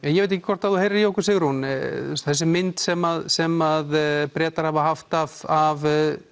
ég veit ekki hvort þú heyrir í okkur Sigrún þessi mynd sem sem Bretar hafa haft af af